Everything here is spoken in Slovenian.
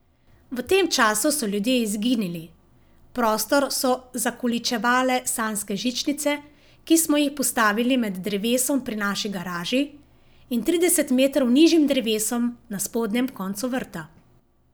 V tem času so ljudje izginili, prostor so zakoličevale sanjske žičnice, ki smo jih postavili med drevesom pri naši garaži in trideset metrov nižjim drevesom na spodnjem koncu vrta.